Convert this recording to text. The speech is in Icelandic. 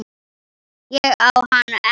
Ég á hana ekki.